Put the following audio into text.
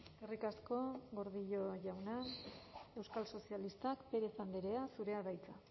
eskerrik asko gordillo jauna euskal sozialistak pérez andrea zurea da hitza